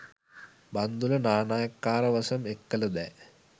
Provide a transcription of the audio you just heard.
බන්දුල නානායක්කාරවසම් එක්කල දෑ